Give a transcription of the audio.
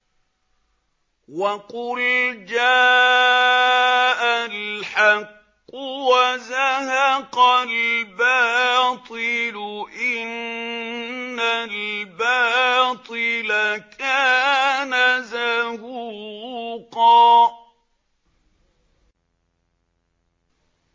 وَقُلْ جَاءَ الْحَقُّ وَزَهَقَ الْبَاطِلُ ۚ إِنَّ الْبَاطِلَ كَانَ زَهُوقًا